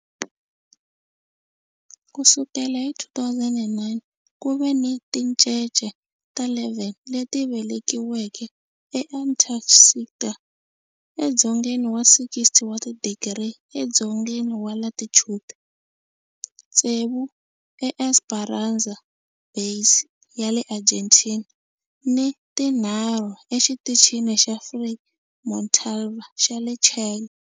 Ku sukela hi 2009, ku ve ni tincece ta 11 leti velekiweke eAntarctica, edzongeni wa 60 wa tidigri edzongeni wa latitude, tsevu eEsperanza Base ya le Argentina ni tinharhu eXitichini xa Frei Montalva xa le Chile.